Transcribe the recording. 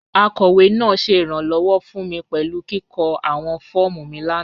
Akọwe naa ṣẹ iranlọwọ fun mi pẹlu kiko awọn fọọmu mi lana.